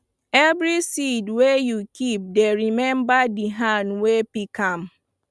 every seed wey you keep dey remember the hand wey pick am